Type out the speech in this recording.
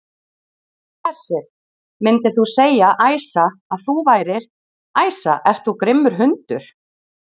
Hersir: Myndir þú segja, Æsa, að þú værir, Æsa ert þú grimmur hundur?